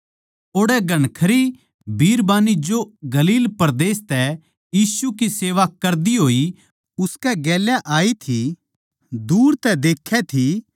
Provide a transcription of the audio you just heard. ओड़ै घणखरी बिरबान्नी जो गलील परदेस तै यीशु की सेवा कर दी होई उसकै गेल्या आई थी दूर तै देक्खै थी